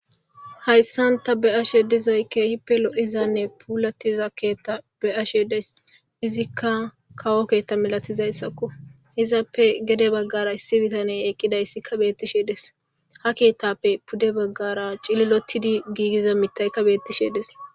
Haysan ta be'ashe dizaysi kehippe lo'izane puulatiza keeta be'ashe days. Izika kawo keeta malatizaysako. Izappe gede bagara issi bitaney eqqidaysi beetishe dees. Ha keetappe pude baggara cililottidi gigiza mittay dees.